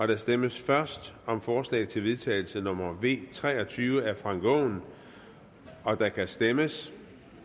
der stemmes først om forslag til vedtagelse nummer v tre og tyve af frank aaen og der kan stemmes